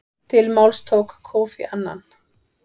Til máls tók Kofi Annan.